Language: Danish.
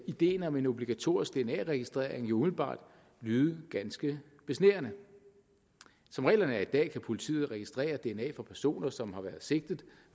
ideen om en obligatorisk dna registrering jo umiddelbart lyde ganske besnærende som reglerne er i dag kan politiet registrere dna fra personer som har været sigtet